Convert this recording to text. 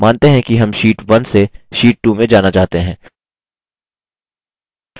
मानते हैं कि हम sheet 1 से sheet 2 में जाना चाहते हैं